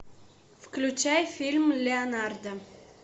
включай фильм леонардо